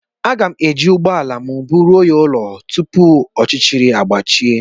A ga m e ji ụgbọala m búrú ya rụọ ụlọ tupu ọchịchịrị àgbàchie